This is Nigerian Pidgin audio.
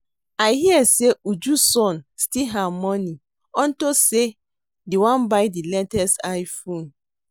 I hear say Uju son steal her money unto say the wan buy the latest I-phone